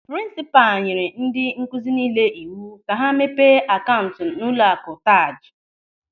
Prinsipal nyere ndị nkụzi niile iwu ka ha mepee akaụntụ n'ụlọakụ TAJ.